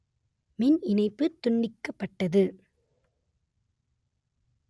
மின் இணைப்பு துண்டிக்கப்பட்டது